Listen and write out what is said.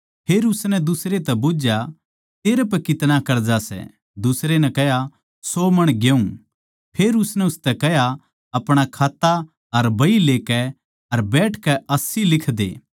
फेर उसनै दुसरे तै बुझ्झया तेरै पै कितना कर्जा सै दुसरे नै कह्या सौ मण गेहूँ फेर उसनै उसतै कह्या अपणा खाता अर बही लेकै अर बैठकै अस्सी लिख दे